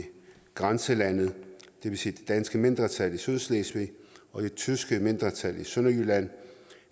grænselandet det vil sige det danske mindretal i sydslesvig og det tyske mindretal i sønderjylland